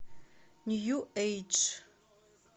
нью эйдж